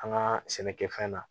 An ka sɛnɛkɛfɛn na